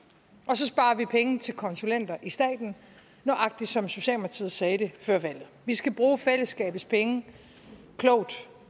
og så sparer vi penge til konsulenter i staten nøjagtig som socialdemokratiet sagde det før valget vi skal bruge fællesskabets penge klogt